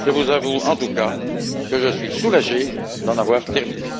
Je vous avoue, en tout cas, que je suis soulagé d'en avoir terminé.